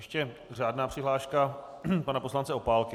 Ještě řádná přihláška pana poslance Opálky.